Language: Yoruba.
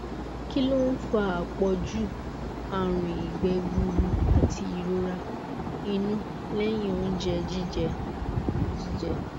kí ló ń fa àpọju àrùn ìgbẹ gburú àti ìrora inú lẹyìn oúnjẹ jíjẹ jíjẹ